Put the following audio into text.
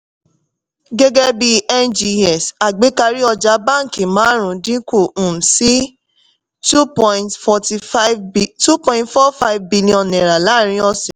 gẹ́gẹ́ bíi ngx àgbékarí ọjà báńkì màrùn-ún dínkù um sí two point forty-five two point four five billion naira làárín ọ̀sẹ̀.